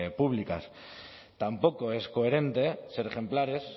públicas tampoco es coherente ser ejemplares